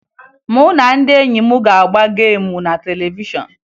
Mụ na ndị enyi m ga-agba geemu na televishọn